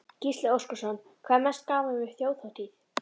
Gísli Óskarsson: Hvað er mest gaman við Þjóðhátíð?